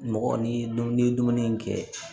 Mɔgɔ ni dumuni ye dumuni in kɛ